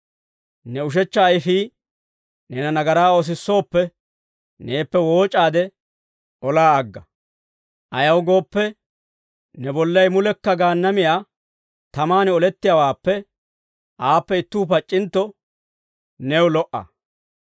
Ne ushechcha ayfii neena nagaraa oosisooppe, neeppe wooc'aade olaa agga; ayaw gooppe, ne bollay mulekka Gaannamiyaa tamaan olettiyaawaappe, aappe ittuu pac'c'intto new lo"a.